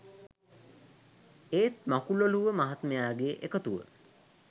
ඒත් මකුලොළුව මහත්මයාගේ එකතුව